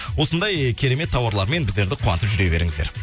осындай керемет тауарлармен біздерді қуантып жүре беріңіздер